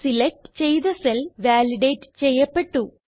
select ചെയ്ത cell validate ചെയ്യപ്പെട്ടു